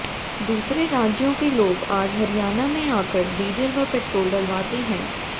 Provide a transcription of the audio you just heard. दूसरे राज्यों के लोग आज हरियाणा में आकर डीजल व पेट्रोल डलवाते हैं